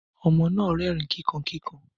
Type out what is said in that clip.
Ọmọ náà rẹrin kíkan kíkan.